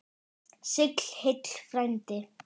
Ég fer og tefli!